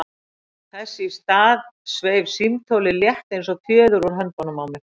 Þess í stað sveif símtólið, létt eins og fjöður, úr höndunum á mér.